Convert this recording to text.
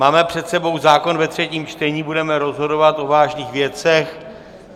Máme před sebou zákon ve třetím čtení, budeme rozhodovat o vážných věcech.